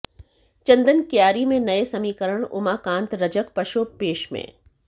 चंदन कियारी में नये समीकरण उमाकांत रजक पशोपेश में